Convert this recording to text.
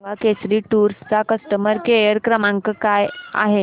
मला सांगा केसरी टूअर्स चा कस्टमर केअर क्रमांक काय आहे